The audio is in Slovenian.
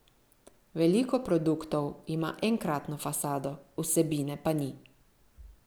Veliko produktov ima enkratno fasado, vsebine pa ni.